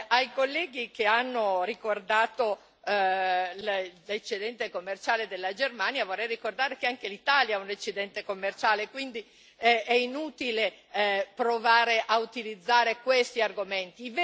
Ai colleghi che hanno ricordato l'eccedente commerciale della Germania vorrei ricordare che anche l'Italia ha un eccedente commerciale, quindi è inutile provare a utilizzare questi argomenti.